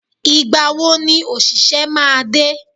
Ìgbàwo ni òṣìṣẹ́ máa dé?